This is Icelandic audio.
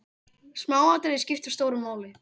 Smáatriði skipta stóru máli.